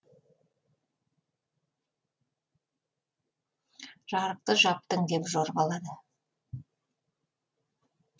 жарықты жаптың деп жорғалады